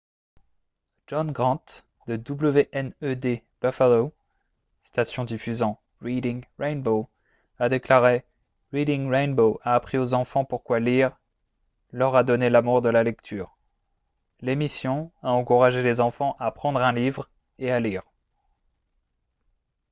john grant de wned buffalo station diffusant reading rainbow a déclaré :« reading rainbow a appris aux enfants pourquoi lire [] leur a donné l’amour de la lecture — [l’émission] a encouragé les enfants à prendre un livre et à lire »